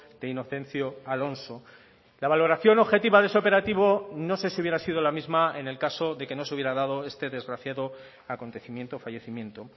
de inocencio alonso la valoración objetiva de ese operativo no sé si hubiera sido la misma en el caso de que no se hubiera dado este desgraciado acontecimiento fallecimiento